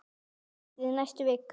Sindri: Næstu vikum?